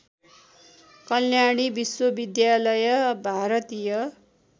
कल्याणी विश्वविद्यालय भारतीय